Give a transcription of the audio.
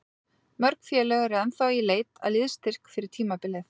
Mörg félög eru ennþá í leit að liðsstyrk fyrir tímabilið.